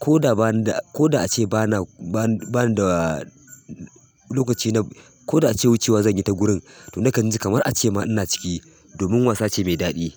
ko da banida ko da a ce ba na ba na bani da lokaci na ko da a ce wucewa zan yi ta gurin. Toh nakan ji kamar a ce ma ina ciki domin wasa ce mai daɗi.